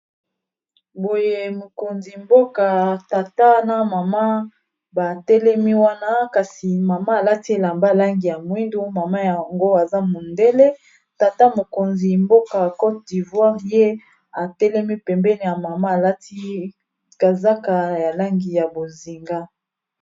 Boye mokonzi mboka tata na mama batelemi wana kasi mama alati elamba langi ya mwindu mama yango aza mondele tata mokonzi mboka a cote divoire ye atelemi pembene ya mama alati kazaka ya langi ya bozinga